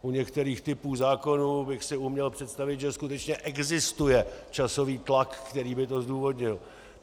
U některých typů zákonů bych si uměl představit, že skutečně existuje časový tlak, který by to zdůvodnil.